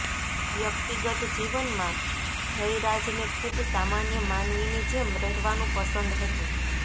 વ્યક્તિગત જીવનમાં જયરાજને ખૂબ સામાન્ય માનવીની જેમ રહેવાનું પસંદ હતું